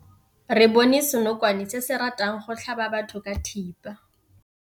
Re bone senokwane se se ratang go tlhaba batho ka thipa.